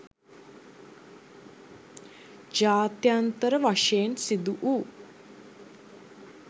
ජාත්‍යන්තර වශයෙන් සිදු වූ